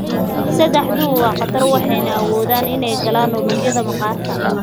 Saddexduba waa khatar waxayna awoodaan inay galaan unugyada maqaarka.